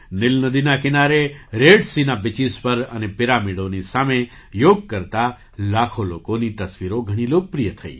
નીલ નદીના કિનારે રેડ સીના બીચીસ પર અને પિરામિડોના સામે યોગ કરતા લાખો લોકોની તસવીરો ઘણી લોકપ્રિય થઈ